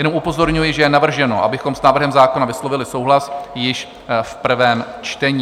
Jen upozorňuji, že je navrženo, abychom s návrhem zákona vyslovili souhlas již v prvém čtení.